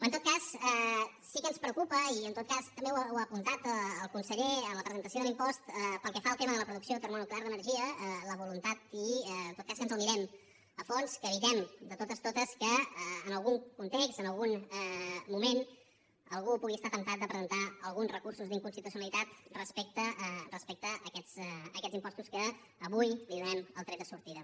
en tot cas sí que ens preocupa i també ho ha apuntat el conseller en la presentació de l’impost pel que fa al tema de la producció termonuclear d’energia la voluntat i que ens el mirem a fons que evitem de totes totes que en algun context en algun moment algú pugui estar temptat de presentar alguns recursos d’inconstitucionalitat respecte a aquests impostos als quals avui donem el tret de sortida